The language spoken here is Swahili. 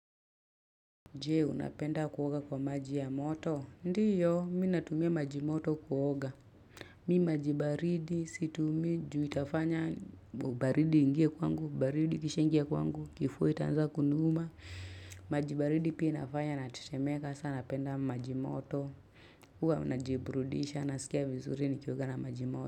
Je, unapenda kuoga kwa maji ya moto? Ndiyo, mi natumia maji moto kuoga. Mi maji baridi, situmii ju itafanya baridi ingie kwangu, baridi kishaingia kwangu, kifua itaanza kuniuma. Maji baridi pia inafanya na tetemeka, saa napenda maji moto. Huwa unajiburudisha, nasikia vizuri nikioga na maji moto.